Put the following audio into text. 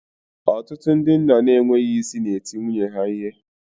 Ọtụtụ ndị nna n'enweghị isi na-eti nwunye ha ihe